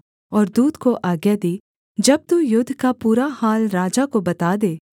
और दूत को आज्ञा दी जब तू युद्ध का पूरा हाल राजा को बता दे